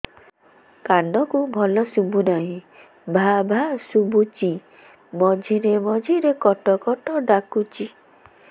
କାନକୁ ଭଲ ଶୁଭୁ ନାହିଁ ଭାଆ ଭାଆ ଶୁଭୁଚି ମଝିରେ ମଝିରେ କଟ କଟ ଡାକୁଚି